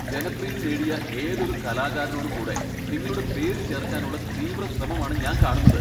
ജനപ്രീതി നേടിയ ഏതൊരു കലാകാരനോടും കൂടെ നിങ്ങളുടെ പേര് ചേർക്കാനുള്ള തീവ്രശ്രമമാണ് ഞാൻ കാണുന്നത്.